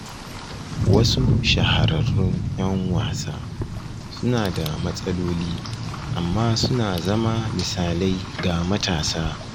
Wasu shahararrun 'yan wasa suna da matsaloli amma suna zama misalai ga matasa